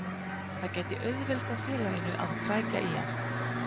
Það gæti auðveldað félaginu að krækja í hann.